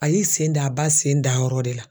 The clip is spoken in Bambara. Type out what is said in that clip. A y'i sen d'a ba sen dayɔrɔ de la.